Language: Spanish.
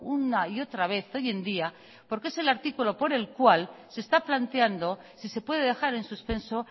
una y otra vez hoy en día porque es el artículo por el cual se está planteando si se puede dejar en suspenso